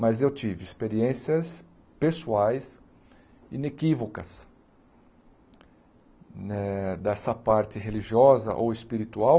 Mas eu tive experiências pessoais inequívocas eh dessa parte religiosa ou espiritual.